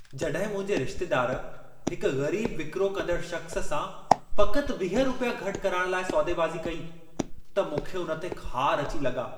जॾहिं मुंहिंजे रिश्तेदार हिक ग़रीब विकिरो कंदड़ शख़्स सां फ़क़्त 20 रुपया घटि कराइण लाइ सौदेबाज़ी कई, त मूंखे उन ते ख़ार अची लॻा।